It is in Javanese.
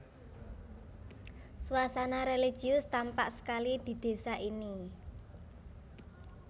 Suasana religius tampak sekali di désa ini